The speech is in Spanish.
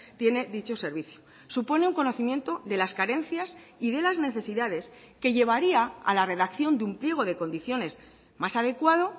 tiene dicho servicio supone un conocimiento de las carencias y de las necesidades que llevaría a la redacción de un pliego de condiciones más adecuado